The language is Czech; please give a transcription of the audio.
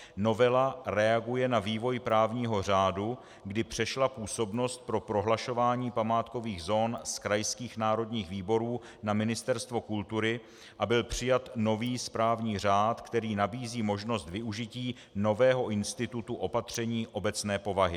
Novela reaguje na vývoj právního řádu, kdy přešla působnost pro prohlašování památkových zón z krajských národních výborů na Ministerstvo kultury a byl přijat nový správní řád, který nabízí možnost využití nového institutu opatření obecné povahy.